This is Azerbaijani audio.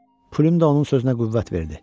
Pilyum da onun sözünə qüvvət verdi.